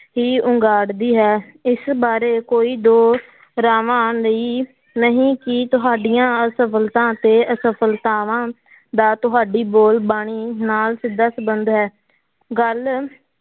ਹੀ ਉਘਾੜਦੀ ਹੈ, ਇਸ ਬਾਰੇ ਕੋਈ ਦੋ ਰਾਵਾਂ ਲਈ ਨਹੀਂ ਕਿ ਤੁਹਾਡੀਆਂ ਅਸਫ਼ਲਤਾਂ ਅਤੇ ਅਸਫ਼ਲਤਾਵਾਂ ਦਾ ਤੁਹਾਡੀ ਬੋੋਲ ਬਾਣੀ ਨਾਲ ਸਿੱਧਾ ਸੰਬੰਧ ਹੈ ਗੱਲ